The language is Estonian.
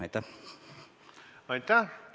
Aitäh!